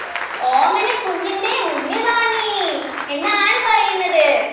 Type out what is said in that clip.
ഓമനക്കുഞ്ഞിൻ്റെ മുന്നിൽ വാ നീ എന്നാണ് പറയുന്നത്